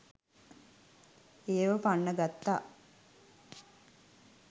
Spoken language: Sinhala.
එයාව පන්නගත්තා.